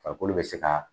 Farikolo bɛ se ka